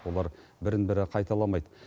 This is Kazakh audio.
олар бірін бірі қайталамайды